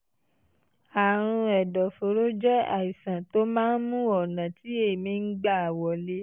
àrùn ẹ̀dọ̀fóró jẹ́ àìsàn tó máa ń mú ọ̀nà tí èémí ń gbà wọlé